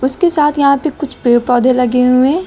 उसके साथ यहां पे कुछ पेड़ पौधे लगे हुए हैं।